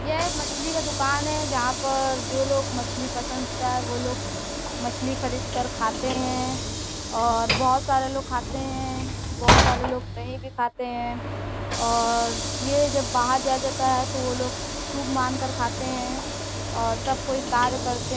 यह एक मछली का दुकान है जहाँ पर जो लोग मछली पसंद होता है वो लोग मछली खरीद कर खाते हैं और बहोत सारे लोग खाते हैं बहोत सारे लोग नहीं भी खाते हैं और ये जब बाहर जाया जाता है तो वो लोग शुभ मान कर खाते हैं और तब कोई कार्य करते--